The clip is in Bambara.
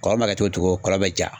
Kɔlɔn ma kɛ cogo cogo kɔlɔn be ja